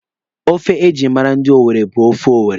Ofe ejiri mara ndị Owere bụ ofe owere.